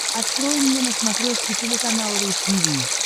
открой мне на смотрешке телеканал ру ти ви